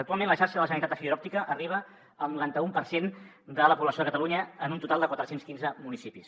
actualment la xarxa de la generalitat de fibra òptica arriba al noranta un per cent de la població de catalunya en un total de quatre cents i quinze municipis